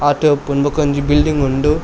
ಆತೆ ಇಪ್ಪುನು ಬಕೊಂಜಿ ಬಿಲ್ಡಿಂಗ್ ಉಂಡು.